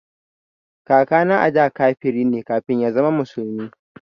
Kakana ada kafiri ne kafin ya zama musulmi